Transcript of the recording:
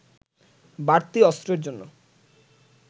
বাড়তি অস্ত্রের জন্য